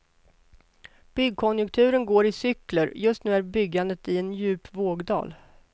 Byggkonjunkturen går i cykler och just nu är byggandet i en djup vågdal.